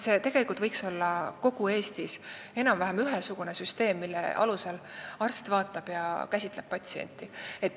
Iseenesest võiks kogu Eestis olla enam-vähem ühesugune süsteem, mille alusel arst vaatab ja käsitleb patsienti.